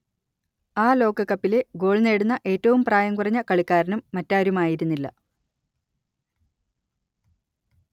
ആ ലോകകപ്പിലെ ഗോൾ നേടുന്ന ഏറ്റവും പ്രായം കുറഞ്ഞ കളിക്കാരനും മറ്റാരുമായിരുന്നില്ല